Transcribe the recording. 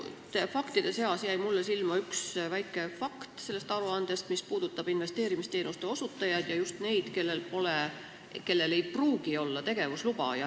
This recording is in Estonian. Sellest aruandest jäi mulle paljude faktide seast silma üks väike fakt, mis puudutab investeerimisteenuste osutajaid ja just neid, kellel ei pruugi olla tegevusluba.